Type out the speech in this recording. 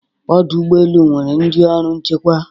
Ọdụ ụgbọ elu nwere ndị ọrụ nchekwa.